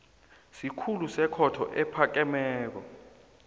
sikhulu sekhotho ephakemeko